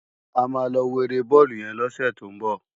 Ámá lò wó éré bòlú yèn lòsè tó n bò